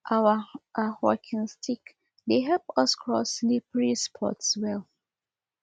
our um walking stick dey help us cross slippery spots well